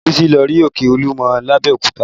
Bísí lọ rí òkè Olúmọ lábẹ́òkúta